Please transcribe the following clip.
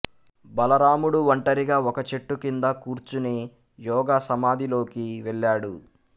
బలరాముడు ఒంటరిగా ఒక చెట్టు కింద కూర్చుని యోగ సమాధిలోకి వెళ్ళాడు